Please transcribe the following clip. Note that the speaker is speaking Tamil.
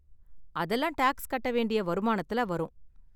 அதெல்லாம் டாக்ஸ் கட்ட வேண்டிய வருமானத்துல வரும்.